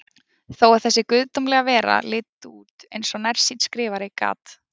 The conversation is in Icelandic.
Þó að þessi guðdómlega vera liti út eins og nærsýnn skrifari, gat